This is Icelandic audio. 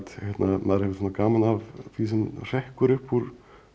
maður hefur gaman af því sem hrekkur upp úr